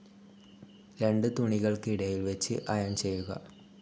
രണ്ട് തുണികൾക്ക് ഇടയിൽ വെച്ച് ഇറോൺ ചെയ്യുക.